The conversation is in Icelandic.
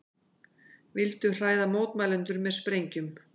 Vildu hræða mótmælendur með sprengjum